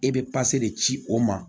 E bɛ de ci o ma